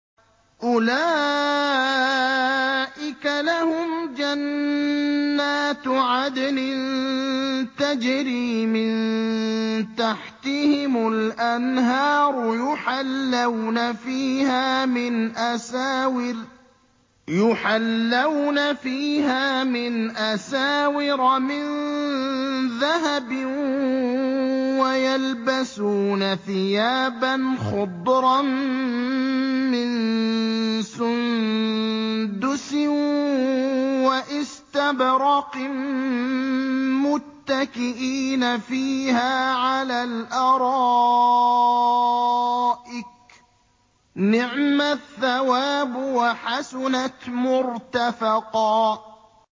أُولَٰئِكَ لَهُمْ جَنَّاتُ عَدْنٍ تَجْرِي مِن تَحْتِهِمُ الْأَنْهَارُ يُحَلَّوْنَ فِيهَا مِنْ أَسَاوِرَ مِن ذَهَبٍ وَيَلْبَسُونَ ثِيَابًا خُضْرًا مِّن سُندُسٍ وَإِسْتَبْرَقٍ مُّتَّكِئِينَ فِيهَا عَلَى الْأَرَائِكِ ۚ نِعْمَ الثَّوَابُ وَحَسُنَتْ مُرْتَفَقًا